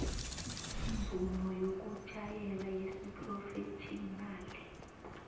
imvumo yokutjhayela yesiphrofetjhinali